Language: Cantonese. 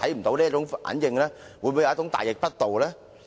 這樣是否稍嫌大逆不道？